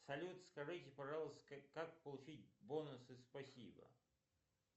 салют скажите пожалуйста как получить бонусы спасибо